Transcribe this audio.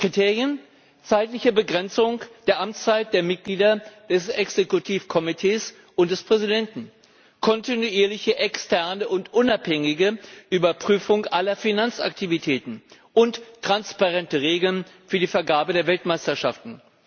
Kriterien zeitliche Begrenzung der Amtszeit der Mitglieder des Exekutivkomitees und des Präsidenten, kontinuierliche externe und unabhängige Überprüfung aller Finanzaktivitäten und transparente Regeln für die Vergabe der Weltmeisterschaften.